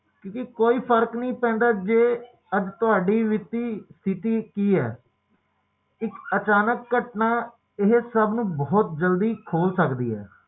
ਕੋਈ ਫਰਕ ਨਹੀਂ ਪੈਂਦਾ ਕਿ ਤੁਹਾਡੀ ਵਿੱਤੀ ਸਥਿਤੀ ਕੀ ਹੈ ਇੱਕ ਅਚਾਨਕ ਘਟਨਾ ਏਹੇ ਸਭ ਨੂੰ ਖੋਲ ਸਕਦੀ ਹੈ